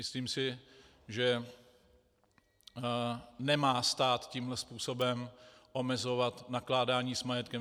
Myslím si, že stát nemá tímhle způsobem omezovat nakládání s majetkem.